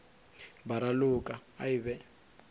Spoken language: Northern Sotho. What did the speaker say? ba raloka a e be